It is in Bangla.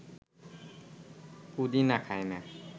পুদিনা খায় না